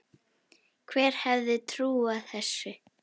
Hver hefði trúað þessu!